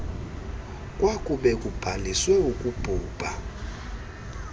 kwakube kubhaliswe ukubhubha